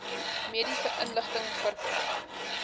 mediese inligting verkry